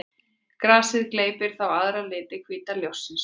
Grasið gleypir þá aðra liti hvíta ljóssins.